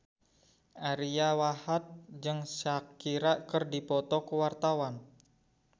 Ariyo Wahab jeung Shakira keur dipoto ku wartawan